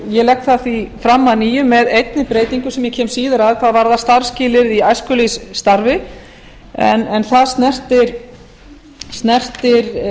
ég legg það því fram að nýju með einni breytingu sem ég kem síðar að hvað varðar starfsskilyrði í æskulýðsstarfi en það snertir